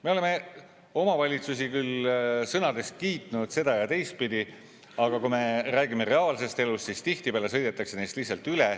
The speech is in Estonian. Me oleme omavalitsusi küll sõnades kiitnud seda- ja teistpidi, aga kui me räägime reaalsest elust, siis tihtipeale sõidetakse neist lihtsalt üle.